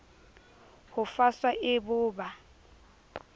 ho faswa e bo ba